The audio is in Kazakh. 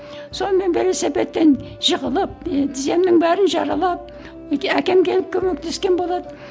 сонымен велосипедтен жығылып і тіземнің бәрін жаралап әкем келіп көмектескен болады